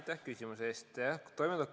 Aitäh küsimuse eest!